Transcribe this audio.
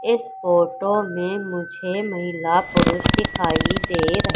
एक फोटो में मुझे महिला पुरुष दिखाई दे रहे--